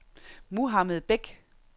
Mohammad Bech